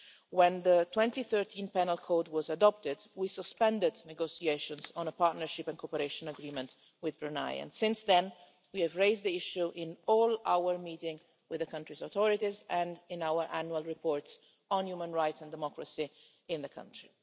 When the 2013 Penal Code was adopted, we suspended negotiations on a partnership and cooperation agreement with Brunei, and since then we have raised the issue in all our meetings with the country's authorities and in our annual reports on human rights and democracy in the country.